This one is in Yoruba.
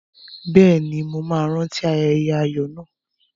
Bẹ́ẹ̀ ni, màá rántí ayẹyẹ ayọ̀ náà.